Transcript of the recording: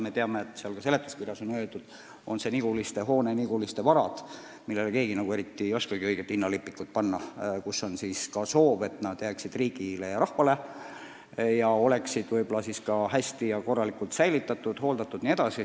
Me teame ja ka seletuskirjas on öeldud, et Niguliste hoonele ja Niguliste varadele keegi nagu ei oskagi õiget hinnalipikut panna ning on soov, et need jääksid riigile ja rahvale ning oleksid siis ka hästi hoitud ja hooldatud.